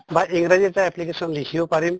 আ ইংৰাজীত এটা application লিখিব পাৰিম